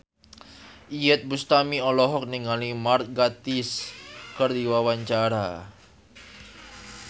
Iyeth Bustami olohok ningali Mark Gatiss keur diwawancara